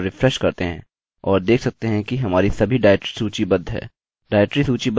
अब यदि हम अपना ब्राउज़र ओपन करते हैं और रिफ्रेश करते हैं और देख सकते हैं कि हमारी सभी डाइरेक्टरी सूचीबद्ध हैं